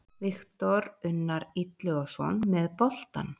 Viktor Unnar Illugason með boltann.